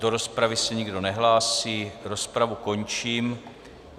Do rozpravy se nikdo nehlásí, rozpravu končím.